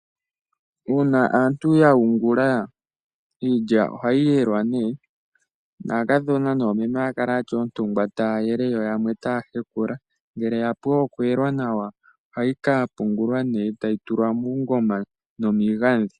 Uuna aantu ya yungula iilya ohayi yelwa aakadhona noomeme ohaya kala yatya oontungwa yo yamwe otaya hekula. Ngele yapu okuyelwa ohayi kapungulwa muungoma nomiigadhi.